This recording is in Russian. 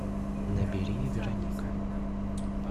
набери вероника